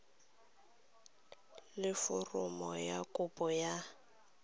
le foromo ya kopo ya